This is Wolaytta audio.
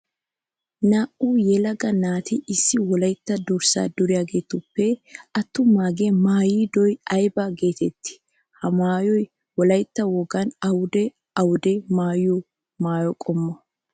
Naa'u yelaga naati issi wolaytta durssa duriyagettuppe atumaage maayiddo aybba geetetti? Ha maayoy wolaytta wogan awudde awudde maayiyo maayo qommo?